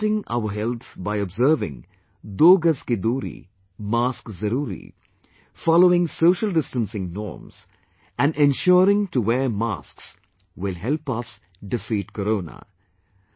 Safeguarding our health by observing, "Do Gaj Ki Doori, Mask Zaroori" following social distancing norms and ensuring to wear masks will help us defeat corona